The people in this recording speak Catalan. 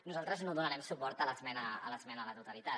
nosaltres no donarem suport a l’esmena a la totalitat